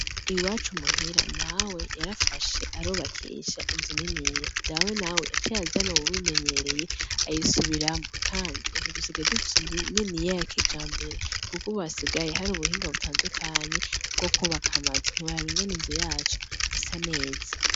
Iwacu muhira mawe yarafashe arubakisha inzu niniya, dawe nawe yaciye azana uwubimenyereye ayisubiramwo kandi ubu dusigaye dufise inzu niniya ya kijambere kuk'ubu hasigaye har'ubuhinga butandukanye bwo kwubaka amazu. Ntiworaba ingene inzu yacu isa neza.